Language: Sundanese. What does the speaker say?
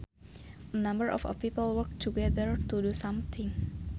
a number of people work together to do something